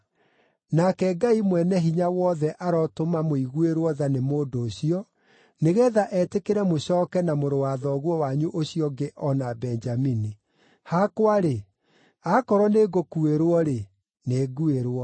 Nake Ngai Mwene-Hinya-Wothe arotũma mũiguĩrwo tha nĩ mũndũ ũcio, nĩgeetha etĩkĩre mũcooke na mũrũ wa thoguo wanyu ũcio ũngĩ o na Benjamini. Hakwa-rĩ, akorwo nĩ ngũkuĩrwo-rĩ, nĩ nguĩrwo.”